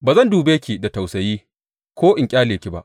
Ba zan dube ki da tausayi; ko in ƙyale ki ba.